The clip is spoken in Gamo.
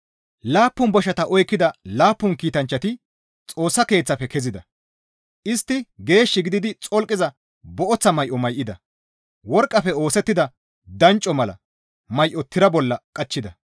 Laappun boshata oykkida laappun kiitanchchati Xoossa Keeththafe kezida; istti geesh gididi xolqiza booththa may7o may7ida; worqqafe oosettida dancco mala may7o tira bolla qachchida.